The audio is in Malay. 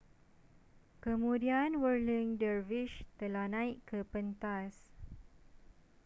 kemudian whirling dervishes telah naik ke pentas